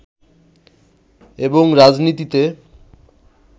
এবং রাজনীতিতে